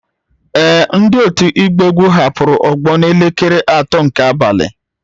Ee, ndị otu ịgba egwu hapụrụ ogbo n'elekere atọ nke abalị